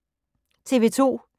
TV 2